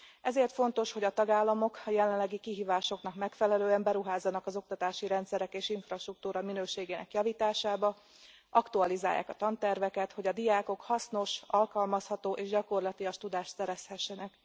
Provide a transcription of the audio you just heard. Ezért fontos, hogy a tagállamok a jelenlegi kihívásoknak megfelelően beruházzanak az oktatási rendszerek és infrastruktúra minőségének javításába, aktualizálják a tanterveket, hogy a diákok hasznos, alkalmazható és gyakorlatias tudást szerezhessenek.